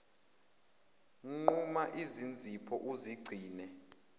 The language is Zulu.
nquma izinzipho uzigcine